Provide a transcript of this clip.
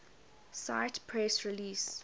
cite press release